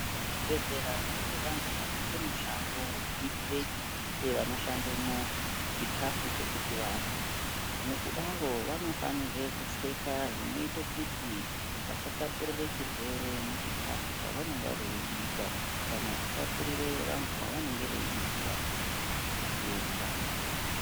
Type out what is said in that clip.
Muzvibhedhlera mune vantu vanoita mushando vekubikire vanoshandemwo chikafu chekuti varye. Mukudaro vanofanirwe kupfeka zvinoite kuti vasatapurire chirwere muchikafu chavanonga veibika. Kana kutapurire vantu vavanenge veibikira chitenda.